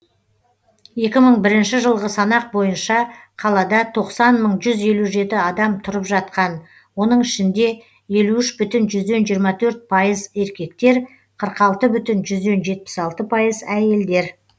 екі мың бірінші жылғы санақ бойынша қалада тоқсан мың жүз елу жеті адам тұрып жатқан оның ішінде елу үш бүтін жүзден жиырма төрт пайыз еркектер қырық алты бүтін жүзден жетпіс алты пайыз әйелдер